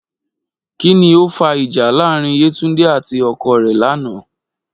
Kí ni ó fa ìjà láàárín Yétúndé àti ọkọ rẹ̀ lánàá?